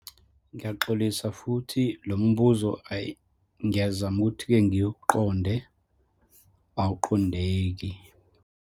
Ngiyaxolisa, futhi lo mbuzo, ayi ngiyazama ukuthi-ke ngiwuqonde, awuqondeki.